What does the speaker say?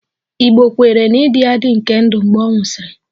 Igbo kweere na-ịdị adị nke ndụ mgbe ọ nwụsịrị